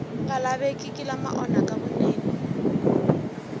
nga lavekeki lama onhaka vunene